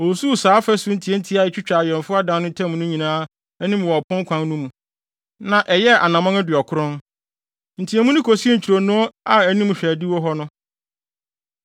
Osusuw faa afasu ntiantia a etwitwa awɛmfo adan no ntam no nyinaa anim wɔ ɔpon kwan no mu, na ɛyɛɛ anammɔn aduɔkron. Nteɛmu no kosii ntwironoo a anim hwɛ adiwo hɔ no.